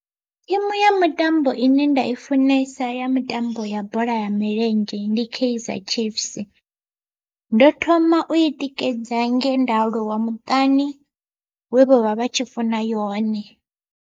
Thimu ya mitambo ine nda i funesa ya mitambo ya bola ya milenzhe ndi keizer chiefs ndo thoma u i tikedza nge nda aluwa muṱani we vha vha tshi funa yone.